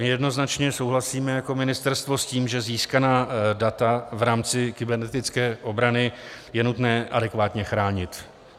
My jednoznačně souhlasíme jako ministerstvo s tím, že získaná data v rámci kybernetické obrany je nutné adekvátně chránit.